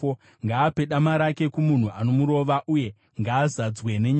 Ngaape dama rake kumunhu anomurova, uye ngaazadzwe nenyadzi.